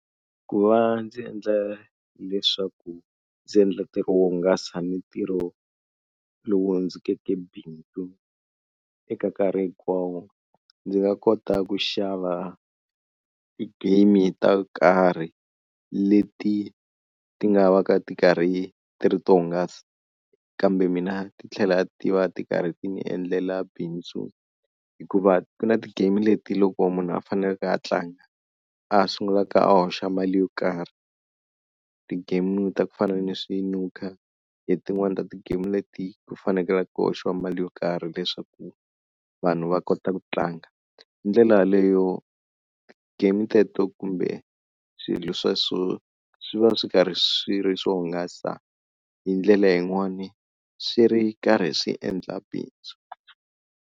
Ku va ndzi endla leswaku ndzi endla ntirho wo hungasa ntirho lowu ndzi bindzu eka nkarhi hinkwawo ndzi nga kota ku xava ti-game to karhi leti ti nga va ka ti karhi ti ri to hungasa kambe mina titlhela ti va ti karhi ti ni endlela bindzu hikuva ti na ti-game leti loko munhu a faneleke a tlanga a sungulaka a hoxa mali yo karhi ti-game ta ku fana ni swi nuka hi tin'wani ta ti-game leti ku fanekele ku hoxiwa mali yo karhi leswaku vanhu va kota ku tlanga. Hi ndlela yaleyo game teto kumbe swilo sweswo swi va swi karhi swi ri swo hungasa hi ndlela yin'wani swi ri karhi swi endla bindzu.